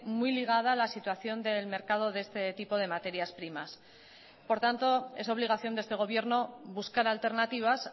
muy ligada a la situación del mercado de este tipo de materias primas por tanto es obligación de este gobierno buscar alternativas